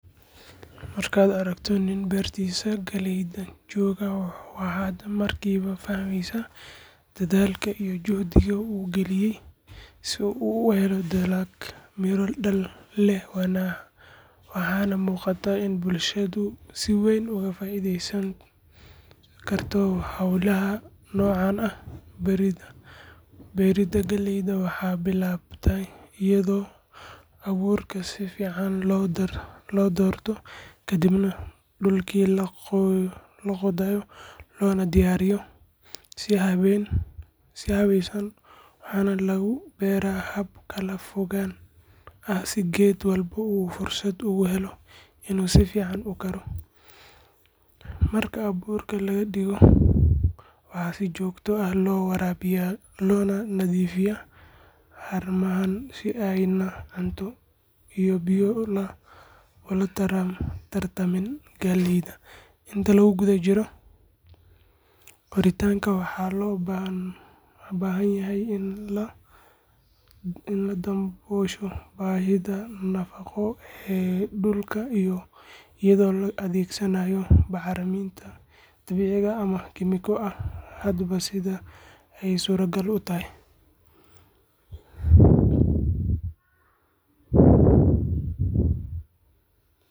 Marka aragto nin beertisa galeyda jogo wuxuu aad markiwa baraneysa dadhalka iyo juhdiga u galiye si u uhelo dalag miro waxana muqataa in bulshaada si weyn oga faidesatokarto holaha nocan ah beerida galeyda waxaa bilawde iyado aburka sifican lo dorto, waxana lagu beera hab kala fog, waxaa si jogto ah lo warawiya, inta lagu jiro beeritanka waxaa fican in ladawosho bahida.